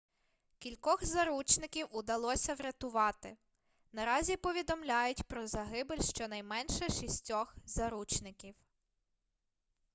кількох заручників удалося врятувати наразі повідомляють про загибель щонайменше шістьох заручників